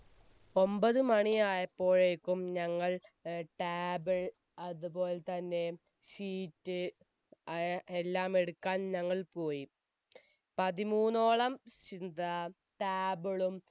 ഒമ്പത് മണിയായപ്പോയേക്കും ഞങ്ങൾ table അതുപോൽ തന്നെ sheet അയ് എല്ലാം എടുക്കാൻ ഞങ്ങൾ പോയി പതിമൂന്നോളം ചിന്ത table ളും